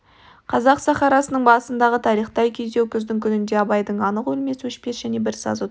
қазақ сахарасының басындағы тарихтай күйзеу күздің күнінде абайдың анық өлмес өшпес және бір сазы туып